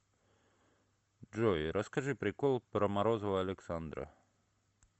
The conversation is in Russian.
джой расскажи прикол про морозова александра